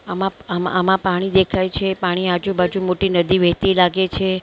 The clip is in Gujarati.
આમાપ આમાં આમાં પાણી દેખાય છે પાણીની આજુ બાજુ મોટી નદી વહેતી લાગે છે ને--